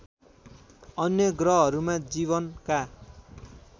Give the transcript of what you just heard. अन्य ग्रहहरूमा जीवनका